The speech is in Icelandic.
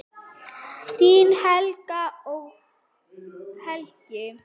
Þín Helgi og Helga.